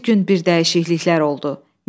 Bir gün bir dəyişikliklər oldu.